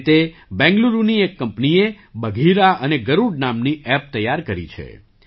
આ રીતે બેંગલુરુની એક કંપનીએ બઘીરા અને ગરુડ નામની ઍપ તૈયાર કરી છે